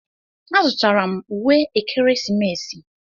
Azụtara m uwe ekeresimesi.